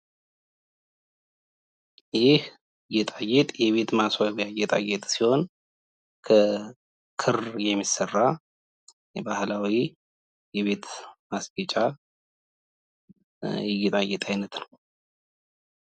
ይህ ጌጣጌጥ የቤት ማስዋቢያ ጌጣጌጥ ሲሆን ከክር የሚሰራ ባህላዊ የቤት ማስጌጫ የጌጣጌጥ አይነት ነው።